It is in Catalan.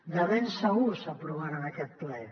de ben segur s’aprovarà en aquest ple